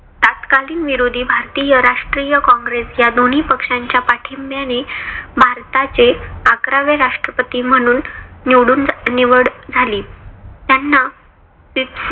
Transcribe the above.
तत्कालीन विरोधी भारतीय राष्ट्रीय कॉंग्रेस या दोन्ही पक्षाच्या पाठींब्याने भारताचे अकरावे राष्ट्रपती म्हणून निवडून निवड झाली. त्यांना ती